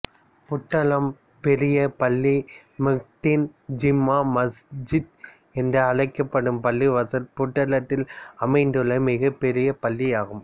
புத்தளம் பெரிய பள்ளி மொஹிடீன் ஜும்மா மஸ்ஜித் என்ற அழைக்கபடும் பள்ளிவாசல் புத்தளதில் அமைந்துள்ள மிகப்பெரிய பள்ளியாகும்